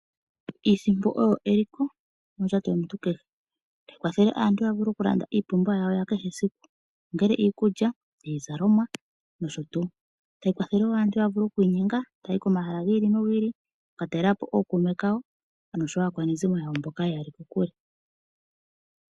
Iisimpo oyo eliko mondjato yomuntu kehe. Otayi kwathele aantu ya vule okulanda iipumbiwa yawo ya kehe esiku, ongele iikulya, iizalomwa nosho tuu. Otayi kwathele wo aantu ya vule okuinyenga taya yi komahala gi ili nogi ili oku ka talela po ookuume kawo noshowo aakwanezimo mboka ye ya li kokule.